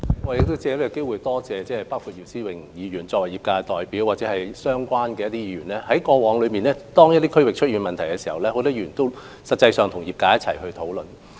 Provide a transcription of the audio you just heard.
我藉此機會多謝作為業界代表的姚思榮議員及相關的議員，因為過往當一些地區出現問題時，他們實際上也有與業界共同討論。